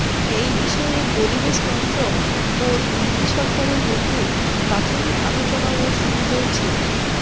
এই বিষয়ে পরিবেশ মন্ত্রক ও দিল্লি সরকারের মধ্যে প্রাথমিক আলোচনাও শুরু হয়েছে